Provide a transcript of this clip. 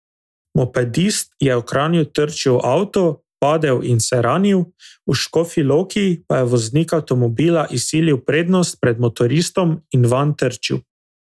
Mopedist je v Kranju trčil v avto, padel in se ranil, v Škofji Loki pa je voznik avtomobila izsilil prednost pred motoristom in vanj trčil.